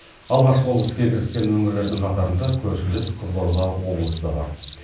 алғаш болып іске кіріскен өңірлердің қатарында көршілес қызылорда облысы да бар